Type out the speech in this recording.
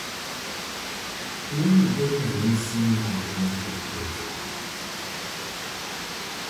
Tuo ni golo ranyisi mag ng'ato podho